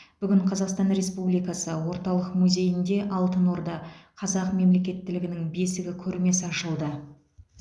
бүгін қазақстан республикасы орталық музейінде алтын орда қазақ мемлекеттілігінің бесігі көрмесі ашылды